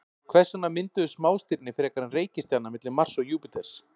Hvers vegna mynduðust smástirni frekar en reikistjarna milli Mars og Júpíters?